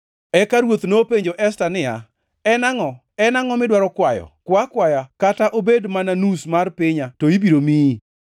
Eka ruoth nopenjo Esta niya, “En angʼo? En angʼo midwaro kwayo? Kwa akwaya kata obed mana nus mar pinya, to ibiro miyi.”